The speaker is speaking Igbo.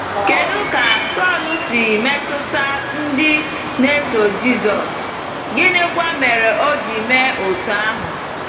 Kedu ka Saulu si metụta ndị na-eso Jisọs, gịnịkwa mere o ji mee otú ahụ?